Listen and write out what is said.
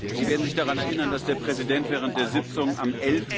Sie werden sich daran erinnern, dass der Präsident am